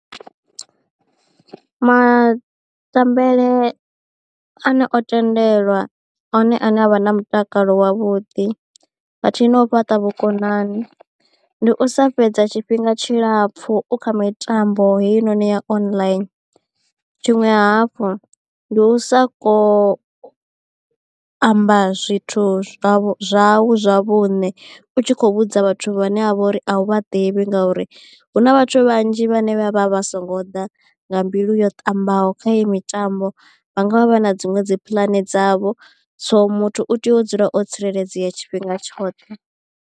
Matambele ane o tendelwa one ane avha na mutakalo wavhuḓi khathihi na u fhaṱa vhukonani ndi u sa fhedza tshifhinga tshilapfu u kha mitambo heinoni ya online. Tshiṅwe hafhu ndi u sa ko amba zwithu zwau zwau zwa vhuṋe u tshi kho vhudza vhathu vhane a vha uri a u vha ḓivhi ngauri hu vhathu vhanzhi vhane vha vha vha songo ḓa nga mbilu yo ṱambaho kha iyi mitambo vha nga vha vha na dziṅwe dzi pulani dzavho so muthu u tea u dzula o tsireledzea tshifhinga tshoṱhe.